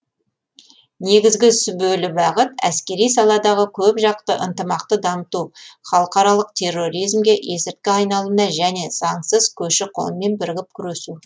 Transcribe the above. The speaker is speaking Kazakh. негізгі сүбелі бағыт әскери саладағы көпжақты ынтымақты дамыту халықаралық терроризмге есірткі айналымына және заңсыз көші қонмен бірігіп күресу